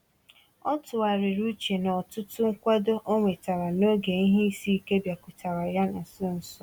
Ọ tụgharịrị uche na ọtụtụ nkwado ọ nwetara n’oge ihe isi ike bịakwutere ya na nso nso a.